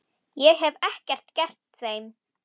Ég hef ekkert gert þeim.